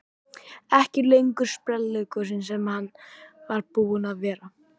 Ekki lengur sprelligosinn sem hann var búinn að vera.